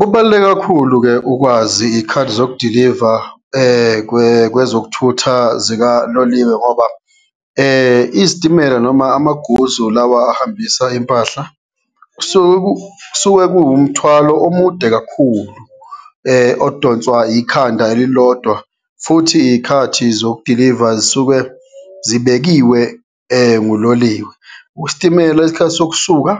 Kubaluleke kakhulu-ke ukwazi iyikhathi zokudiliva kwe, kwezokuthutha zikaloliwe ngoba izitimela noma amaguzu lawa ahambisa impahla, kusuke kusuke kuwumthwalo omude kakhulu odonswa ikhanda elilodwa, futhi iyikhathi zokudiliva zisuke zibekiwe nguloliwe. Isitimela isikhathi sokusuka